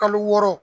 Kalo wɔɔrɔ